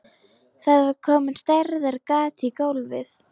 Það var komið stærðar gat í gólfið.